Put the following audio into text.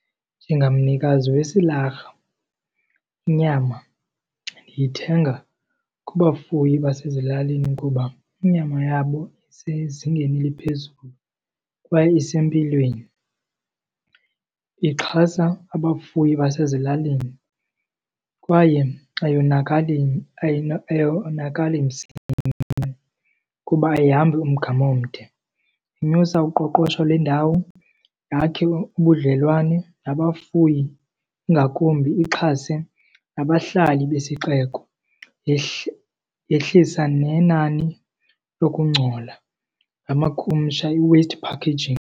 Njengamnikazi wesilarha, inyama ndiyithenga kubafuyi basezilalini kuba inyama yabo isezingeni eliphezulu kwaye isempilweni. Ndixhasa abafuyi basezilalini kwaye ayonakali, ayonakali msinya kuba ayihambi umgama omde. Inyusa uqoqosho lwendawo, yakhe ubudlelwane nabafuyi, ingakumbi ixhase nabahlali besixeko, yehlisa nenani lokungcola, ngamakhumsha i-waste packaging.